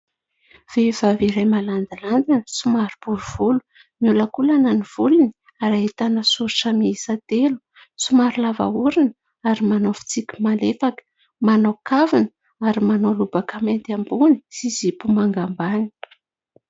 Vehivavy iray malandilandina somary bory volo. Miolankolana ny volony ary ahitana soritra miisa telo. Somary lava orona ary manao fitsiky malefaka. Manao kavina ary manao lobaka mainty ambony sy zipo manga ambany.